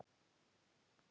Ellefu sterka vantar